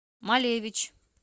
малевич